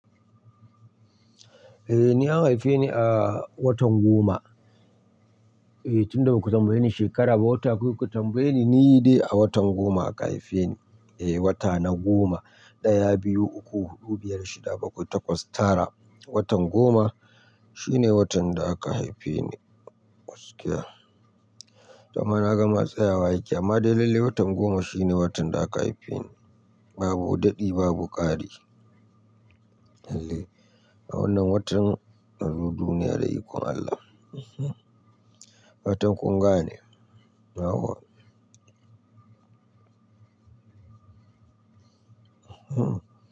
Eh, ni an haife ni a watan goma. Eh, tunda aku tambaye ni shekara ba wata, kawai kuka tambaye ni, ni yi dai a watan goma aka haife ni. Eh, wata na goma, ɗaya, biyu, uku, huɗu, biyar, shida, bakwai, takwas, tara. Watan goma shine watan da aka haife ni. Kwasƙiya. To ama naga ma tsayawa yake amma dai lallai watan goma shine watan da aka haife ni. Babu daɗi, babu ƙari. Lalle. A wannan watan, nazo duiya da ikon Allah. Watan ƙunga ne. Nawa. Hmm.